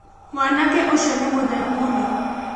Mwanake ũcio nĩmũtheru mũno.